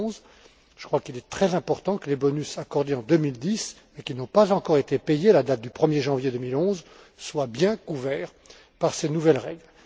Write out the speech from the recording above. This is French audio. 2011. Je crois qu'il est très important que les bonus accordés en 2010, mais qui n'ont pas encore été payés à la date du 1er janvier 2011, soient bien couverts par ces nouvelles règles.